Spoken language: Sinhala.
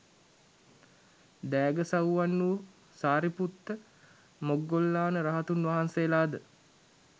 දෑගසව්වන් වූ සාරිපුත්ත, මොග්ගල්ලාන රහතුන් වහන්සේලාද